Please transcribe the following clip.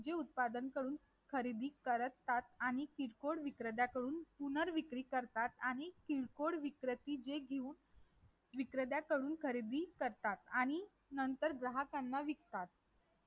जे उत्पादन करून खरेदी करतात आणि किरकोळ विकृत्याकडून पुनर्र विकृती करतात आणि किरकोळ विकृती जे घेऊन विक्रत्याकडून खरेदीकरतात आणि नंतर ग्राहकाला विकतात